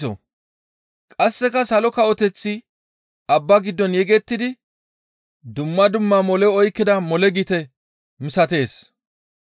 «Qasseka Salo Kawoteththi abba giddon yegettidi dumma dumma mole oykkida mole gite misatees.